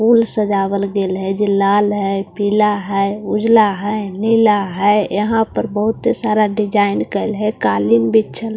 फूल सजावल के ले जई जे लाल है पीला है उजला है नीला है यहां पर बहुतत सारा डिजाइन काला के लिए कालेई बिछ्छल--